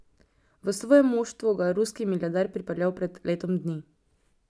V svoje moštvo ga je ruski milijarder pripeljal pred letom dni.